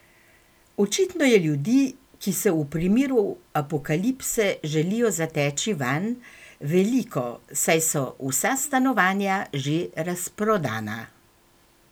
Očitno je ljudi, ki se v primeru apokalipse želijo zateči vanj, veliko, saj so vsa stanovanja že razprodana!